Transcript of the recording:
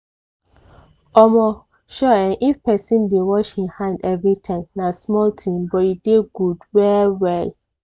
omo! ture[um]if person dey wash hin hand everytime na small thing but e dey good well well